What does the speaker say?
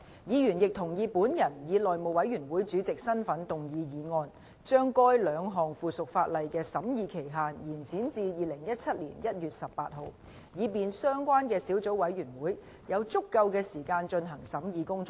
議員亦同意本人以內務委員會主席的身份動議議案，將該兩項附屬法例的審議期限延展至2017年1月18日，以便相關的小組委員會有足夠的時間進行審議工作。